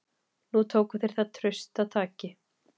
Nú tóku þeir það traustataki.